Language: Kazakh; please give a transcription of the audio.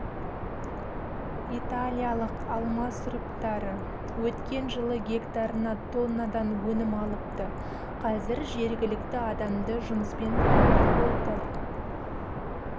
италиялық алма сұрыптары өткен жылы гектарына тоннадан өнім алыпты қазір жергілікті адамды жұмыспен қамтып отыр